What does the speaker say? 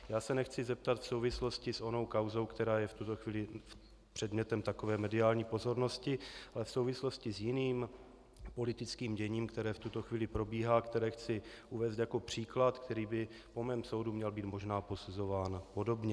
Já se nechci zeptat v souvislosti s onou kauzou, která je v tuto chvíli předmětem takové mediální pozornosti, ale v souvislosti s jiným politickým děním, které v tuto chvíli probíhá, které chci uvést jako příklad, který by po mém soudu měl být možná posuzován podobně.